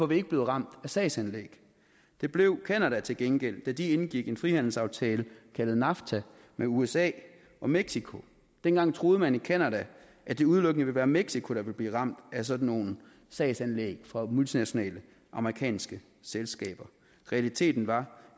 vi ikke blevet ramt af sagsanlæg det blev canada til gengæld da de indgik en frihandelsaftale kaldet nafta med usa og mexico dengang troede man i canada at det udelukkende ville være mexico der ville blive ramt af sådan nogle sagsanlæg fra multinationale amerikanske selskaber realiteten var